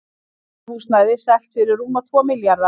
Atvinnuhúsnæði selt fyrir rúma tvo milljarða